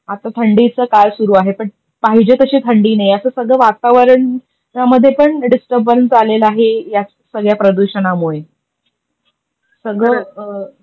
आता थंडीचा काळसुरु आहे पण पाहिजे तशी थंडी नाहीये, अस सगळ वातावरण त्यामधे पण डिस्टरर्बंस आलेला आहे या सगळ्या प्रदुषणामुळे. सगळ